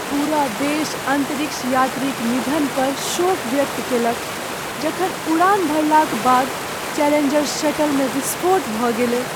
पूरा देश अंतरिक्ष यात्री क निधन पर शोक व्यक्त कएलक जखन उड़ान भरलाक बाद चैलेंजर शटलमे विस्फोट भऽ गेलै ।